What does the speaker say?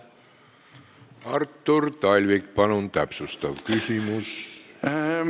Artur Talvik, palun täpsustav küsimus!